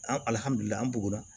An an bugɔra